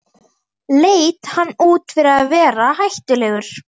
Leit hann út fyrir að vera hættulegur?